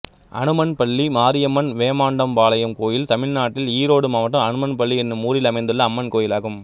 அனுமன்பள்ளி மாரியம்மன் வேமாண்டம்பாளையம் கோயில் தமிழ்நாட்டில் ஈரோடு மாவட்டம் அனுமன்பள்ளி என்னும் ஊரில் அமைந்துள்ள அம்மன் கோயிலாகும்